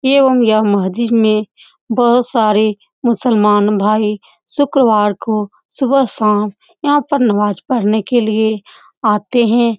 मस्जिद में बोहोत सारे मुसलमान भाई शुक्रवार को सुबह शाम यहां पर नमाज पढ़ने के लिए आते हैं।